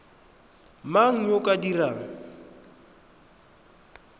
mang yo o ka dirang